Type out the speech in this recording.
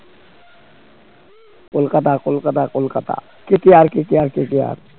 Kolkata Kolkata Kolkata KKR~KKR~KKR